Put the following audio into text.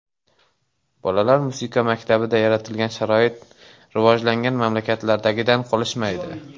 Bolalar musiqa maktabida yaratilgan sharoit rivojlangan mamlakatlardagidan qolishmaydi.